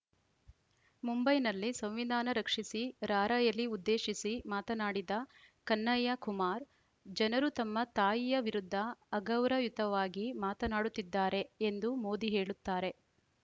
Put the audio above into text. ಮುಂಬೈನಲ್ಲಿ ಸಂವಿಧಾನ ರಕ್ಷಿಸಿ ರಾರ‍ಯಲಿ ಉದ್ದೇಶಿಸಿ ಮಾತನಾಡಿದ ಕನ್ಹಯ್ಯ ಕುಮಾರ್‌ ಜನರು ತಮ್ಮ ತಾಯಿಯ ವಿರುದ್ಧ ಅಗೌರವಯುತವಾಗಿ ಮಾತನಾಡುತ್ತಿದ್ದಾರೆ ಎಂದು ಮೋದಿ ಹೇಳುತ್ತಾರೆ